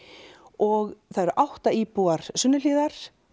og það eru átta íbúar Sunnuhlíðar